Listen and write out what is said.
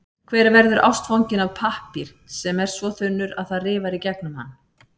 Hver verður ástfanginn af pappír sem er svo þunnur, að það rifar í gegnum hann?